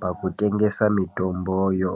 pakutengese mitomboyo.